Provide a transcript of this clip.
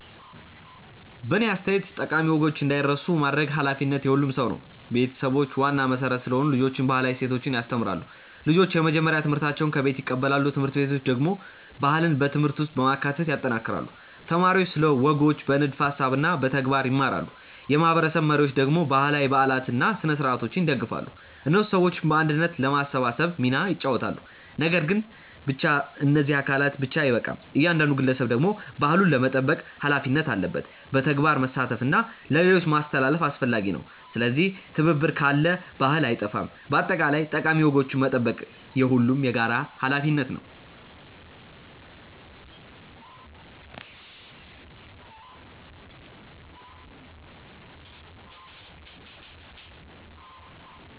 በእኔ አስተያየት ጠቃሚ ወጎች እንዳይረሱ ማድረግ ኃላፊነቱ የሁሉም ሰው ነው። ቤተሰቦች ዋና መሠረት ስለሆኑ ልጆችን ባህላዊ እሴቶች ያስተምራሉ። ልጆች የመጀመሪያ ትምህርታቸውን ከቤት ይቀበላሉ። ት/ቤቶች ደግሞ ባህልን በትምህርት ውስጥ በማካተት ያጠናክራሉ። ተማሪዎች ስለ ወጎች በንድፈ ሀሳብ እና በተግባር ይማራሉ። የማህበረሰብ መሪዎች ደግሞ ባህላዊ በዓላትን እና ስነ-ሥርዓቶችን ይደግፋሉ። እነሱ ሰዎችን በአንድነት ለማሰባሰብ ሚና ይጫወታሉ። ነገር ግን ብቻ እነዚህ አካላት ብቻ አይበቃም። እያንዳንዱ ግለሰብ ደግሞ ባህሉን ለመጠበቅ ሀላፊነት አለበት። በተግባር መሳተፍ እና ለሌሎች ማስተላለፍ አስፈላጊ ነው። ስለዚህ ትብብር ካለ ባህል አይጠፋም። በአጠቃላይ ጠቃሚ ወጎችን መጠበቅ የሁሉም የጋራ ሀላፊነት ነው።